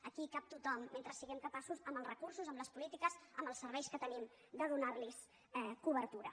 aquí hi cap tothom mentre siguem capaços amb els recursos amb les polítiques amb els serveis que tenim de donar los cobertura